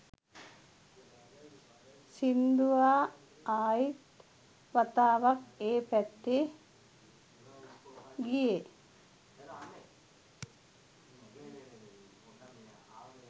සිංදුවා ආයිත් වතාවක් ඒ පැත්තේ ගියේ